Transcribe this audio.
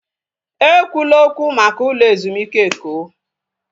Ekwula okwu maka ụlọ ezumike Eko!